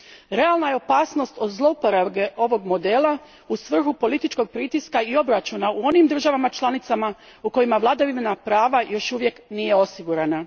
Realna je opasnost od zlouporabe ovog modela u svrhu političkog pritiska i obračuna u onim državama članicama u kojima vladavina prava još uvijek nije osigurana.